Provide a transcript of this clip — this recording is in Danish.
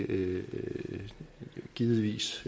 vil givetvis